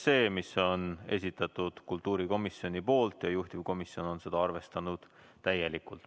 Selle on esitanud kultuurikomisjon ja juhtivkomisjon on seda arvestanud täielikult.